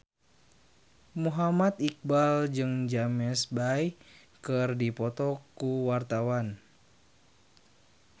Muhammad Iqbal jeung James Bay keur dipoto ku wartawan